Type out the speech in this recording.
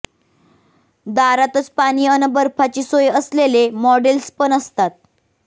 दारातच पाणी अन बर्फाची सोय असलेले मॉडेल्स पण असतात